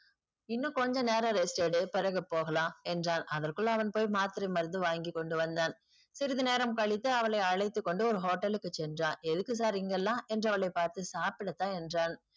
இன்னு கொஞ்ச நேரம் rest எடு பிறகு போகலாம் என்றான். அதுக்குள்ள அவன் போய் மாத்திரை மருந்து வாங்கிக்கொண்டு வந்தான் சிறிது நேரம் கழித்து அவளை அழைத்துக்கொண்டு ஒரு hotel க்கு சென்றான் எதுக்கு sir இங்கல்லாம் என்ற அவளை பார்த்து சாப்பிடத்தான் என்றான்.